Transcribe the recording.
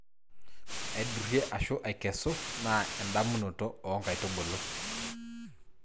aidurie/aikesu: naa edamunoto oo nkaitubulu